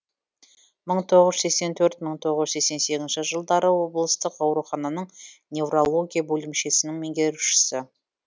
мың тоғыз жүз сексен төрт мың тоғыз жүз сексен сегіз жылдары облыстық аурухананың неврология бөлімшесінің меңгерушісі